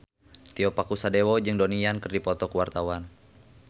Tio Pakusadewo jeung Donnie Yan keur dipoto ku wartawan